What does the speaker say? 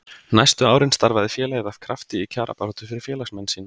næstu árin starfaði félagið af krafti í kjarabaráttu fyrir félagsmenn sína